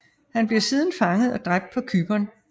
Han bliver siden fanget og dræbt på Cypern